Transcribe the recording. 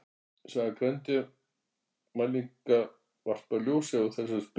saga greindarmælinga varpar ljósi á þessar spurningar